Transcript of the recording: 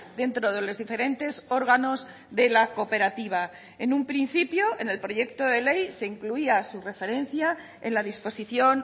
dentro de los diferentes órganos de la cooperativa en un principio en el proyecto de ley se incluía su referencia en la disposición